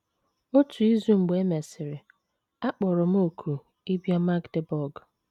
Otu izu mgbe e mesịrị, a kpọrọ m òkù ịbịa Magdeburg.